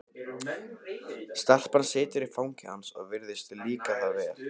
Stelpan situr í fangi hans og virðist líka það vel.